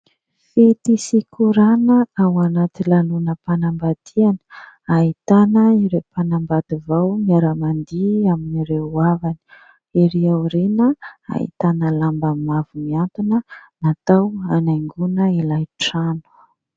Fety sy korana ao anaty lanonam-panambadiana, ahitana ireo mpanambady vao miara-mandihy amin'ireo havany. Ery aoriana ahitana lamba mavo miantona natao hanaingoana ilay trano.